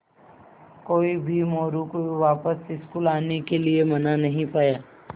कोई भी मोरू को वापस स्कूल आने के लिये मना नहीं पाया